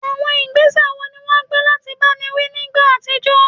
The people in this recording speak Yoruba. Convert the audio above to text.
Àwọn ìgbésẹ̀ wo ni wọ́n gbé láti báni wí nígbà àtijọ́?